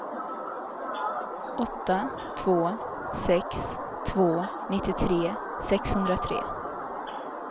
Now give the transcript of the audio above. åtta två sex två nittiotre sexhundratre